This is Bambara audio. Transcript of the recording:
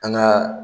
An ka